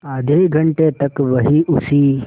आधे घंटे तक वहीं उसी